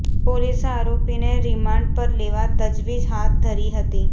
પોલીસે આરોપીને રીમાન્ડ પર લેવા તજવીજ હાથ ધરી હતી